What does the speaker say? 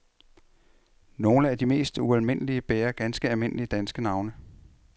Nogle af de mest ualmindelige bærer ganske almindelige danske navne.